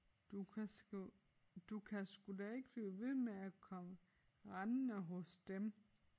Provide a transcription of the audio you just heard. Du kan sgu du kan sgu da ikke blive ved med at komme rendende hos dem